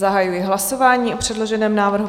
Zahajuji hlasování o předloženém návrhu.